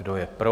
Kdo je pro?